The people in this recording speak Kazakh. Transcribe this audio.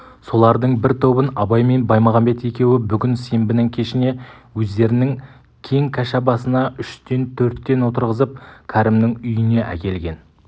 солардың бір тобын абай мен баймағамбет екеуі бүгін сенбінің кешіне өздерінің кең кәшабасына үштен-төрттен отырғызып кәрімнің үйіне әкелген